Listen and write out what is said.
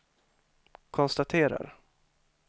konstaterar